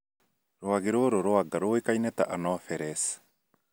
Rwagĩ rũrũ rwa nga rũĩkaine ta Anopheles